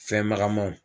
Fɛn magamaw